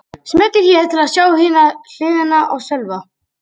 Smellið hér til að sjá hina hliðina á Sölva